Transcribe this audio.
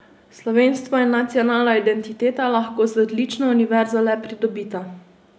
Slovenstvo in nacionalna identiteta lahko z odlično univerzo le pridobita.